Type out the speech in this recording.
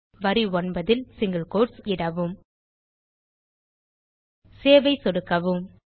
இங்கே வரி 9 ல் சிங்கில் கோட்ஸ் இடவும் சேவ் ஐ சொடுக்கவும்